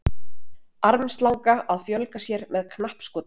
armslanga að fjölga sér með knappskoti